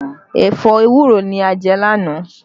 Ẹ̀fọ́ ewúro ni a jẹ lánàá